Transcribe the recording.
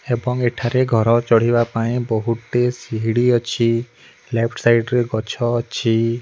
ଏବଂ ଏଠାରେ ଘର ଚଢିବା ପାଇଁ ବୋହୁତ୍ ଟିଏ ସିଢି ଅଛି ଲେଫ୍ଟ୍ ସାଇଡ୍ ରେ ଗଛ ଅଛି।